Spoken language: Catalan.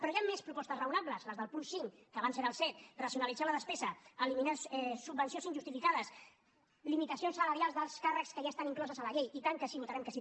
però hi han més propostes raonables les del punt cinc que abans era el set racionalitzar la despesa eliminar subvencions injustificades limitacions salarials dels càrrecs que ja estan incloses a la llei i tant que sí votarem que sí